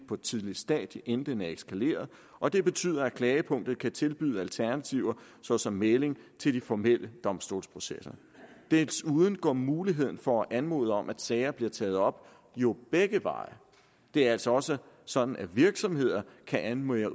på et tidligt stadium i en den er eskaleret og det betyder at klagepunktet kan tilbyde alternativer såsom mægling til de formelle domstolsprocesser desuden går muligheden for at anmode om at sager bliver taget op jo begge veje det er altså også sådan at virksomheder kan anmode